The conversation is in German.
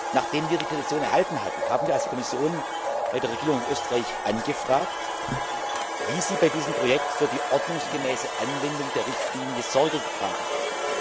Nachdem wir die Petition erhalten hatten, haben wir als Kommission bei der Regierung in Österreich angefragt, wie sie bei diesem Projekt für die ordnungsgemäße Anwendung der Richtlinie Sorge getragen hat.